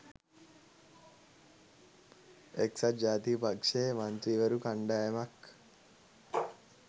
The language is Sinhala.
එක්සත් ජාතික පක්ෂයේ මන්ත්‍රීවරු කණ්ඩායමක්